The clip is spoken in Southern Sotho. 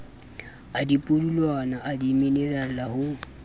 a dipudulwana a dimenerale ho